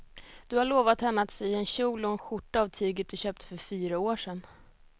Du har lovat henne att du ska sy en kjol och skjorta av tyget du köpte för fyra år sedan.